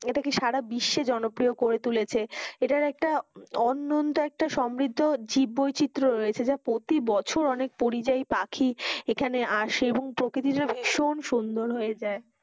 ইটা কে সারা বিশ্বে জনকপ্রিয় করে তুলেছে, এটার একটা অন্যন্ত একটা সমবৃদ্ধ জীব বৈচিত রয়েছে যা প্রতি বছর অনেক পরিযাই এখানে আসে এবং প্রকতৃটা ভীষণ সুন্দর লাগে